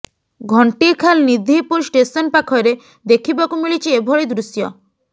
Ghantikhal Nidhipur station ପାଖରେ ଦେଖିବାକୁ ମିଳିଛି ଏଭଳି ଦୃଶ୍ୟ